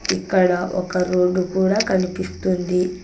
ఇక్కడ ఒక రోడ్ కూడా కనిపిస్తుంది.